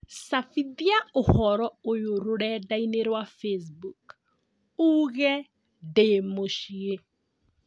cabithia ũhoro ũy rũrenda-inī rũa facebook uuge ndĩ mũciĩ